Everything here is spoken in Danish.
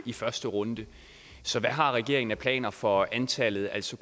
i første runde så hvad har regeringen af planer for antallet altså